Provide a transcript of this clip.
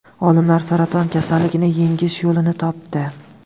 Olimlar saraton kasalligini yengish yo‘lini topdi.